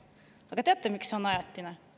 Aga teate, miks need on ajutised?